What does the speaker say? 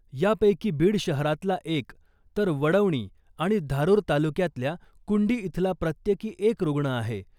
यापैकी बीड शहरातला एक , तर वडवणी आणि धारुर तालुक्यातल्या कुंडी इथला प्रत्येकी एक रुग्ण आहे .